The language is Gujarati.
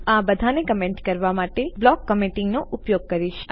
હું આ બધાને કમેન્ટ કરવા માટે બ્લોક ક્મેન્તીંગ નો ઉપયોગ કરીશ